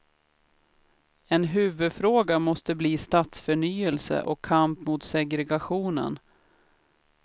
En huvudfråga måste bli stadsförnyelse och kamp mot segregationen.